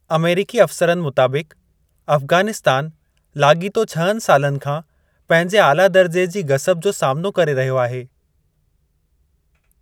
अमेरिकी अफ़सरनि मुताबिक़, अफगानिस्तान लाॻीतो छहनि सालनि खां पंहिंजे आला दर्जे जी गसब जो सामनो करे रहियो आहे।